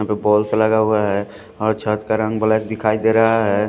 यहाँ पे बल्ब्स लगा हुआ है और छत का रंग ब्लेक दिखाई दे रहा है ।